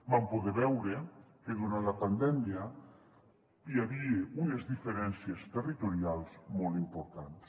vam poder veure que durant la pandèmia hi havia unes diferències territorials molt importants